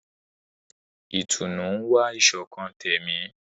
Ìtùnú ń wá ìṣọ̀kan tẹ̀mí.